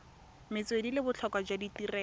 metswedi le botlhokwa jwa tirelo